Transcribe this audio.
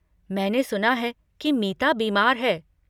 मैंने सुना है कि मीता बीमार है।